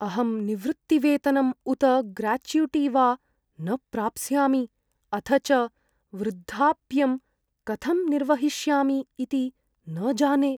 अहं निवृत्तिवेतनम् उत ग्राचुटि वा न प्राप्स्यामि, अथ च वृद्धाप्यं कथं निर्वहिष्यामि इति न जाने।